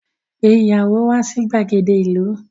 Pe ìyàwó wà sí gbàgede ìlú.